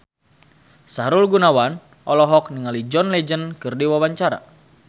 Sahrul Gunawan olohok ningali John Legend keur diwawancara